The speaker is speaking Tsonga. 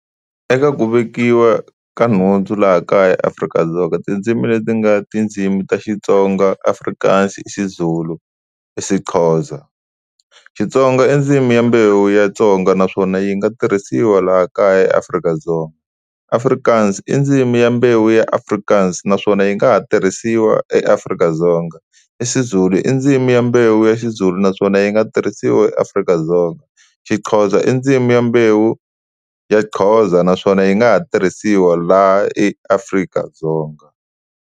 Eka ku vekiwa ka nhundzu laha kaya eAfrika-Dzonga tindzimi leti nga tindzimi ta Xitsonga, Afrikaans, isiZulu, isiXhosa. Xitsonga i ndzimi ya mbewu ya Tsonga naswona yi nga tirhisiwa laha kaya eAfrika-Dzonga. Afrikaans i ndzimi ya mbewu ya Afrikaans naswona yi nga ha tirhisiwa eAfrika-Dzonga. IsiZulu i ndzimi ya mbewu ya Xizulu naswona yi nga tirhisiwa eAfrika-Dzonga. Xixhosa i ndzimi ya mbewu ya Xhosa naswona yi nga ha tirhisiwa laha eAfrika-Dzonga.